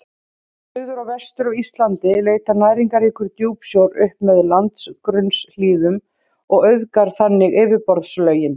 Suður og vestur af Íslandi leitar næringarríkur djúpsjór upp með landgrunnshlíðunum og auðgar þannig yfirborðslögin.